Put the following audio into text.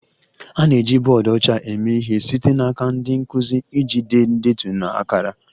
A na-eji bọọdụ ọcha eme ihe site n'aka ndị nkụzi iji dee ndetu na akara